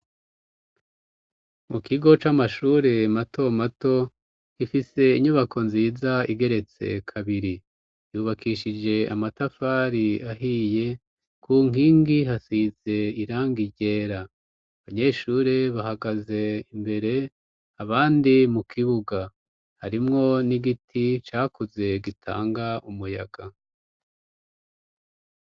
Mu kigo c'amashure mato mato, ifise inyubako nziza igeretse kabiri, yubakishije amatafari ahiye, ku nkingi hasize irangi ryera, abanyeshure bahagaze imbere, abandi mu kibuga harimwo n'igiti cakuze gitanga umuyaga.